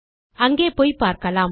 அங்கே போய் பார்க்கலாம்